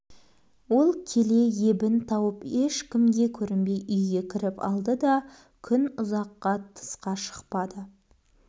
ол келе ебін тауып ешкімге көрінбей үйге кіріп алды да күн ұаққа тысқа шықпады